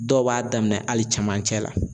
Dɔw b'a daminɛn hali camancɛ la.